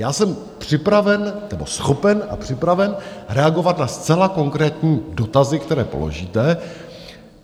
Já jsem připraven, nebo schopen a připraven, reagovat na zcela konkrétní dotazy, které položíte.